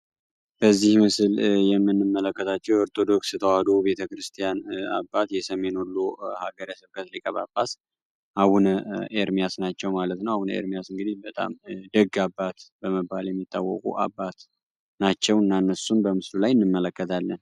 በዚህ ምስል የምንመለከታቸው የኢትዮጵያ ኦርቶዶክስ ተዋሕዶ አባት የሰሜን ወሎ ሀገረ ስብከት ሊቀ ጳጳስ አቡነ ኤርሚያስ ናቸው። አቡነ ኤርሚያስ እንግዲህ በጣም ደግ አባት በመባል የሚታወቁ አባት ናቸው። እና እነሱን በምስሉ ላይ እንመለከታለን።